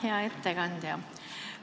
Hea ettekandja!